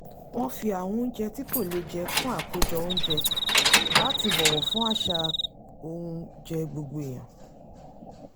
wọ́n fi àwọn oúnjẹ tí kò lẹ́jẹ̀ kún àkójọ oúnjẹ láti bọ̀wọ̀ fún àsà óúnjẹ gbogbo èèyàn